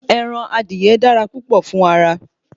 Ẹran adìye dára púpọ̀ fún ara